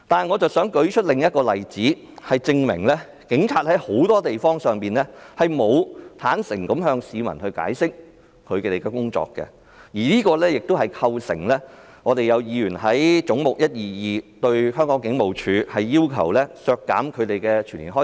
我想舉出另一個例子，說明警察很多時候未能向市民解釋他們的工作，所以，有議員要求削減"總目 122— 香港警務處"下全年的薪酬開支。